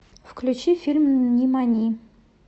включи фильм нимани